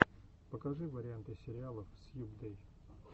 покажи варианты сериалов сьюбдэй